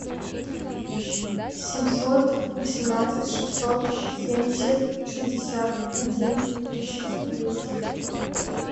семьсот восемнадцать шестьсот семьдесят шестьдесят один тридцать девять